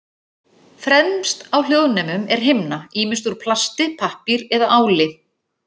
Fremst á hljóðnemum er himna, ýmist úr plasti, pappír eða áli.